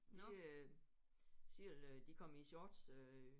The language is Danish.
De øh selv de kom i shorts øh